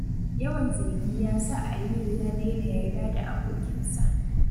Yawan zargi ya sa Aliyu ya daina yarda da abokinsa.